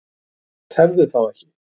Tefðu þá ekki.